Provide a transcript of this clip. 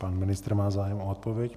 Pan ministr má zájem o odpověď.